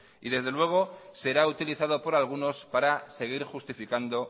y desde luego será utilizado por algunos para seguir justificando